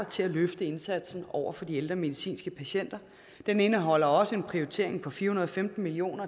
til at løfte indsatsen over for de ældre medicinske patienter den indeholder også en prioritering på fire hundrede og femten million